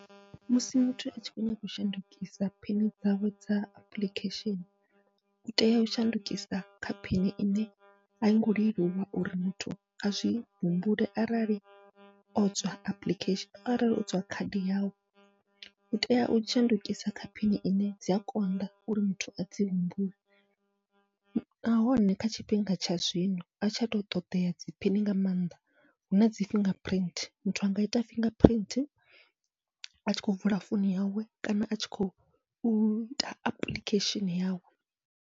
Musi muthu atshi kho nyaga u shandukisa phini dzawe dza apuḽikhesheni, utea u shandukisa kha phini ine aingo leluwa uri muthu azwi humbule arali o tswa apuḽikhesheni, arali o tswa khadi yawu utea u shandukisa kha phini ine dzia konḓa uri muthu adzi humbule. Nahone kha tshifhinga tsha zwino a tsha to ṱoḓea dzi phini nga maanḓa huna dzi fingerprint, muthu anga ita fingerprint atshi khou vula founu yawe kana atshi khou ita apuḽikhesheni yawe.